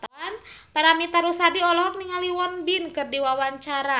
Paramitha Rusady olohok ningali Won Bin keur diwawancara